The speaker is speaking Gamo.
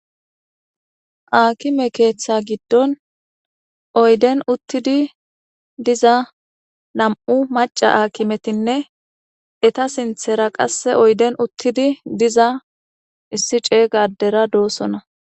Aakime keeththa giddon oyden uttidi diza nam77u macca akimetinne eta sinthera qasse oyden uttidi diza issi ceygadera doossona